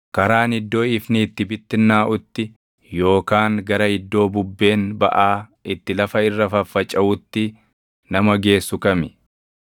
Karaan iddoo ifni itti bittinnaaʼutti yookaan gara iddoo bubbeen baʼaa itti lafa irra faffacaʼuutti nama geessu kami?